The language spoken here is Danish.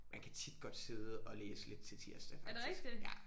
Man kan tit godt sidde og læse lidt til tirsdag faktisk ja